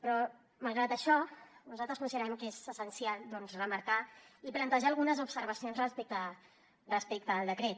però malgrat això nosaltres considerem que és essencial doncs remarcar i plantejar algunes observacions respecte al decret